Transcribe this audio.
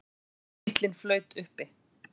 Bíllinn flaut uppi